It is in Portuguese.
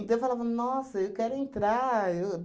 eu falava, nossa, eu quero entrar. Eu